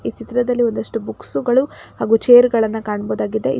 ಚಿತ್ರದಲ್ಲಿ ಒಂದಷ್ಟು ಬುಕ್ಸುಗಳು ಹಾಗು ಚೇರ್ ಗಳನ್ನ ಕಾಣ್ಬೋದಾಗಿದೆ ಈ ಚಿ--